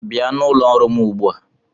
Bịa n'ụlọ ọrụ m ugbu a!